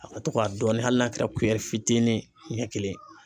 A ka to ka dɔɔnin hali n'a kɛra fitinin ɲɛ kelen ye